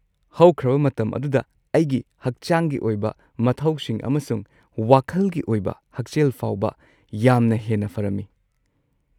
ꯍꯧꯈ꯭ꯔꯕ ꯃꯇꯝ ꯑꯗꯨꯗ ꯑꯩꯒꯤ ꯍꯛꯆꯥꯡꯒꯤ ꯑꯣꯏꯕ ꯃꯊꯧꯁꯤꯡ ꯑꯃꯁꯨꯡ ꯋꯥꯈꯜꯒꯤ ꯑꯣꯏꯕ ꯍꯛꯁꯦꯜ ꯐꯥꯎꯕ ꯌꯥꯝꯅ ꯍꯦꯟꯅ ꯐꯔꯝꯃꯤ꯫